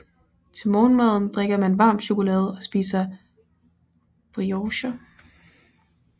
Til morgenmaden drikker han varm chokolade og spiser briocher